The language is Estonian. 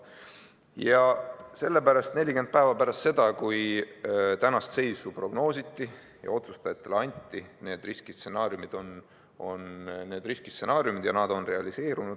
Ja sellepärast 40 päeva pärast seda, kui tänast seisu prognoositi ja otsustajatele anti need riskistsenaariumid, on need riskistsenaariumid realiseerunud.